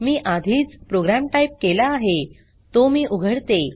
मी आधीच program type केला आहे तो मी उघडते